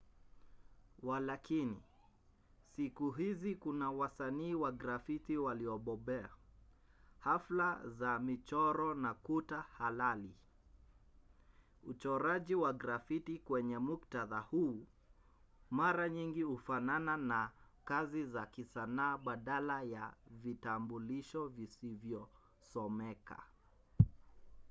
walakini siku hizi kuna wasanii wa grafiti waliobobea hafla za michoro na kuta halali”. uchoraji wa grafiti kwenye muktadha huu mara nyingi hufanana na kazi za kisanaa badala ya vitambulisho visivyosomeka.